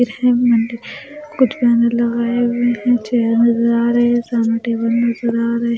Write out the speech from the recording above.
कुछ बैनर लगाए हुए हैं चेयर नज़र आ रहे हैं सामने टेबल नज़र आ रहे --